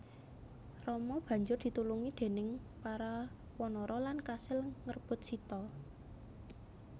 Rama banjur ditulungi déning para wanara lan kasil ngrebut Sita